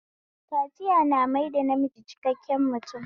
Kaciya na maida namiji cikakken mutum